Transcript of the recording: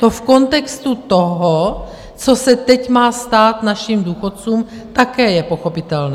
To v kontextu toho, co se teď má stát našim důchodcům, také je pochopitelné.